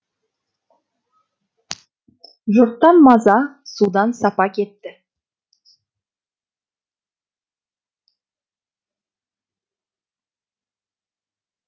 жұрттан маза судан сапа кетті